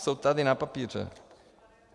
Jsou tady na papíře.